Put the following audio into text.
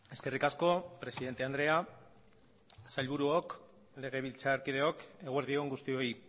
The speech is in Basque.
eskerrik asko presidente andrea sailburuok legebiltzarkideok eguerdi on guztioi